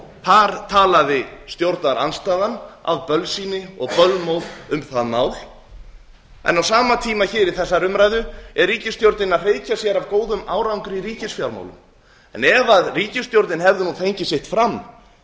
þar talaði stjórnarandstaðan af bölsýni og bölmóð um það mál en á sama tíma hér í þessari umræðu er ríkisstjórnin að hreykja sér af góðum árangri í ríkisfjármálum ef ríkisstjórnin hefði fengið sitt fram